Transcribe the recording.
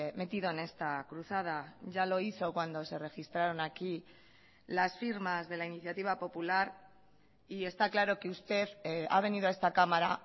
metido en esta cruzada ya lo hizo cuando se registraron aquí las firmas de la iniciativa popular y está claro que usted ha venido a esta cámara